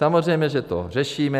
Samozřejmě, že to řešíme.